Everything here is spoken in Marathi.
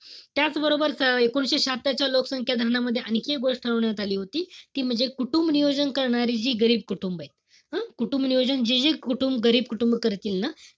त्याचबरोबर एकोणीशे शहात्तरच्या लोकसंख्या धोरणामध्ये आणखी एक गोष्ट ठरवण्यात आली होती. ती म्हणजे कुटुंबनियोजन करणारी जी गरीब कुटुंब एत. हं? कुटुंब नियोजन जे-जे गरीब कुटुंब केलं ना,